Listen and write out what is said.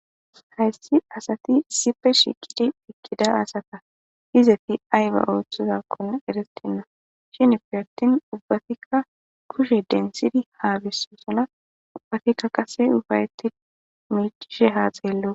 hayssi asati isipe shiqidi uttida asata izeti ayba ooththozakkon eretenna shinippe attin ubbatikka kushe dentid haabisosona ubbatikka qase ufayeti miicishe haa xeello